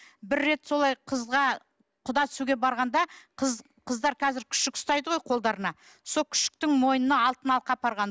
бір рет солай қызға құда түсуге барғанда қыздар қазір күшік ұстайды ғой қолдарына сол күшіктің мойнына алтын алқа апарған